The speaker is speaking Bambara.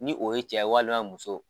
Ni o ye cɛ ye walima muso.